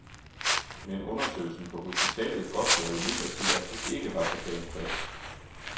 Men undersøgelsen på hospitalet godtgjorde imidlertid, at det ikke var så galt fat.